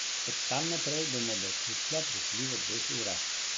Od tam naprej bomo do Kuclja prišli v dveh urah.